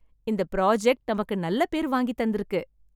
இந்த ப்ராஜெக்ட் நமக்கு நல்ல பேர் வாங்கி தந்திருக்கு!